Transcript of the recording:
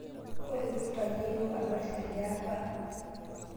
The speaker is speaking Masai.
Kulotuta yeiyo adol teldeapa